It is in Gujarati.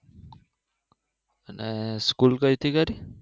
school તો અહીંથી કરી